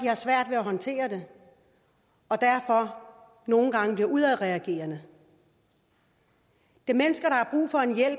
har svært ved at håndtere det og derfor nogle gange bliver udadreagerende det